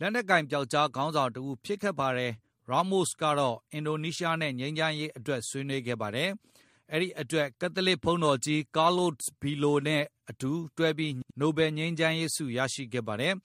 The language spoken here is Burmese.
လက်နက်ကိုင် ပျောက်ကျားခေါင်းဆောင် တဦးဖြစ်ခဲ့ပါတယ်။ ရားမို့စ် ကတော့ အင်ဒိုနီးရှားနဲ့ ငြိမ်းချမ်းရေးအတွက်ဆွေးနွေးခဲ့ပါတယ်။ အဲဒီအတွက် ကက်သလစ်ဘုန်းတော်ကြီး Carlos Belo နဲ့ အတူ နိုဘယ်ငြိမ်းချမ်းရေးဆု ရခဲ့ပါတယ်